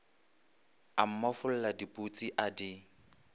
a mmofolla diputsi a di